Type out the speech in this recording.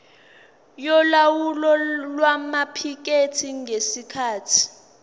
yolawulo lwamaphikethi ngesikhathi